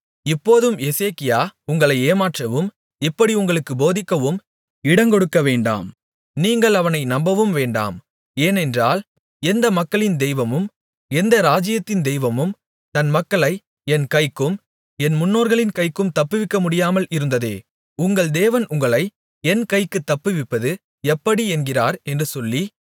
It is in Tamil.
இப்போதும் எசேக்கியா உங்களை ஏமாற்றவும் இப்படி உங்களுக்கு போதிக்கவும் இடங்கொடுக்கவேண்டாம் நீங்கள் அவனை நம்பவும் வேண்டாம் ஏனென்றால் எந்த மக்களின் தெய்வமும் எந்த ராஜ்யத்தின் தெய்வமும் தன் மக்களை என் கைக்கும் என் முன்னோர்களின் கைக்கும் தப்புவிக்க முடியாமல் இருந்ததே உங்கள் தேவன் உங்களை என் கைக்குத் தப்புவிப்பது எப்படி என்கிறார் என்று சொல்லி